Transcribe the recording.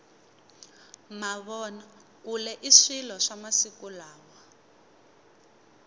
mavona kule i swilo swa masiku lawa